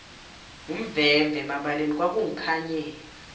ngumvemve emabaleni kwangikhanyela